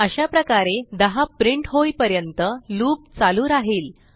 अशाप्रकारे 10 प्रिंट होईपर्यंत लूप चालू राहिल